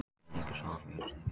Vel lýgur sá er með vitnum lýgur.